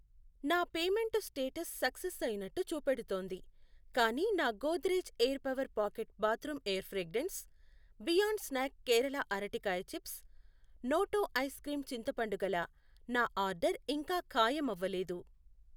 నా payment status success అయినట్టు చూపెడుతోంది, కానీ నా Godrej air power pocket bathroom air fragrance, beyond snack Kerala అరటికాయ చిప్స్, నోటో ఐస్ క్రీమ్ చింతపండు గల నా ఆర్డర్ ఇంకా ఖాయమవ్వలేదు.